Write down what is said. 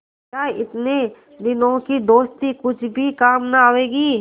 क्या इतने दिनों की दोस्ती कुछ भी काम न आवेगी